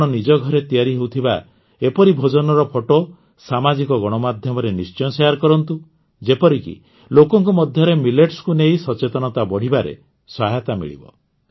ଆପଣ ନିଜ ଘରେ ତିଆରି ହେଉଥିବା ଏପରି ଭୋଜନର ଫଟୋ ସାମାଜିକ ଗଣମାଧ୍ୟମରେ ନିଶ୍ଚୟ ଶେୟାର୍ କରନ୍ତୁ ଯେପରିକି ଲୋକଙ୍କ ମଧ୍ୟରେ ମିଲେଟ୍ସକୁ ନେଇ ସଚେତନତା ବଢ଼ିବାରେ ସହାୟତା ମିଳିବ